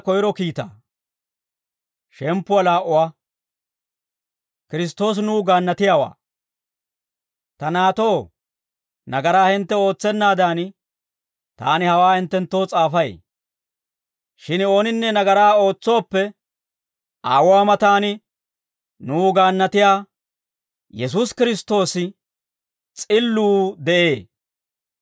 Ta naatoo, nagaraa hintte ootsennaadan, taani hawaa hinttenttoo s'aafay; shin ooninne nagaraa ootsooppe, Aawuwaa matan nuw gaannatiyaa Yesuusi Kiristtoosi, S'illuu, de'ee.